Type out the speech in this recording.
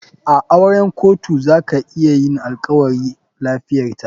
A auren kotu zaka yinalkawari. lafiyarta.